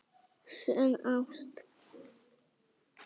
Sönn ást